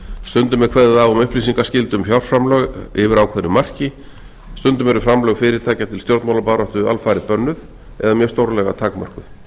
stundum er kveðið á um upplýsingaskyldu um fjárframlög yfir ákveðnu marki stundum eru framlög fyrirtækja til stjórnmálabaráttu alfarið bönnuð eða mjög stórlega takmörkuð í